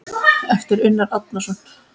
eftir Unnar Árnason